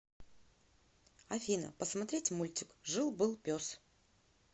афина посмотреть мультик жил был пес